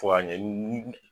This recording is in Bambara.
Fo ka ɲɛ ni